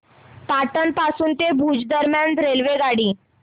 पाटण पासून भुज दरम्यान रेल्वेगाडी